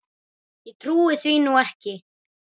Ég trúi því nú ekki.